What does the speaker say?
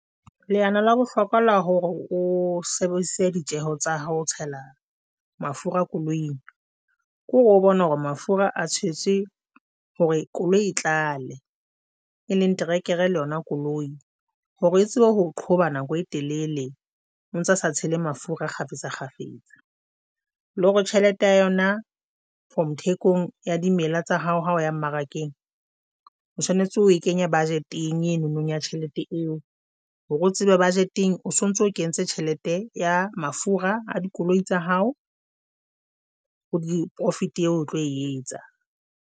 Leano la bohlokwa la hore o sebedisitse ditjeho tsa hao o tshela mafura koloing ke hore o bone hore mafura a tshetswe hore koloi e tlale e leng terekere le yona koloi hore e tsebe ho qhoba nako e telele o ntsa sa tshele mafura kgafetsa kgafetsa le hore tjhelete ya yona from thekong ya dimela tsa hao, ha o ya mmarakeng o tshwanetse oe kenye budget-eng eno no ya tjhelete eo hore o tsebe budget-eng o sontso o kentse tjhelete ya mafura a dikoloi tsa hao, o di profit eo o tlo etsa.